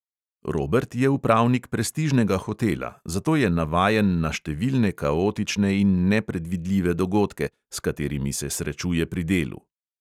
Robert je upravnik prestižnega hotela, zato je navajen na številne kaotične in nepredvidljive dogodke, s katerimi se srečuje pri delu.